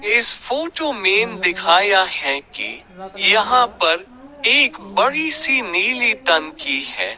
इस फोटो में दिखाया है कि यहां पर एक बड़ी सी नीली टंकी है।